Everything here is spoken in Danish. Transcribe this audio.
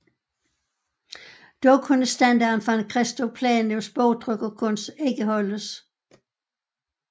Dog kunne standarden fra en Christophe Plantins bogtrykkerkunst ikke holdes